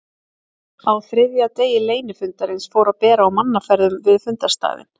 Á þriðja degi leynifundarins fór að bera á mannaferðum við fundarstaðinn.